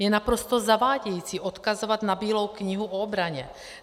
Je naprosto zavádějící odkazovat na Bílou knihu o obraně.